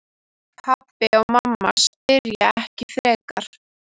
Pabbi og mamma spyrja ekki frekar.